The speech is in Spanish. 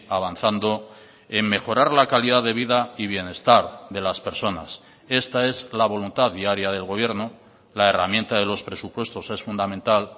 avanzando en mejorar la calidad de vida y bienestar de las personas esta es la voluntad diaria del gobierno la herramienta de los presupuestos es fundamental